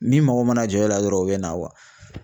Min mago mana jɔ o la dɔrɔn o be na kuwa